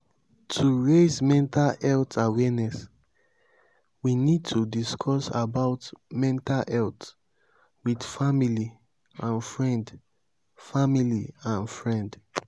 to raise mental health awareness we need to discuss about mental health with family and friend family and friend